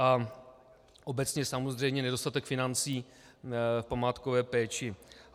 A obecně samozřejmě nedostatek financí v památkové péči.